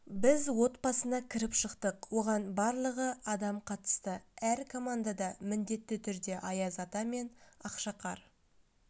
біз отбасына кіріп шықтық оған барлығы адам қатысты әр командада міндетті түрде аяз ата мен ақшақар